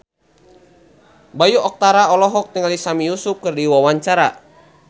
Bayu Octara olohok ningali Sami Yusuf keur diwawancara